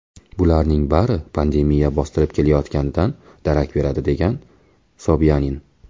Bularning bari pandemiya bostirib kelayotganidan darak beradi”, degan Sobyanin.